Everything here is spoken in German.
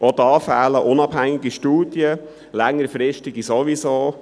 Auch da fehlen unabhängige Studien, längerfristige fehlen sowieso.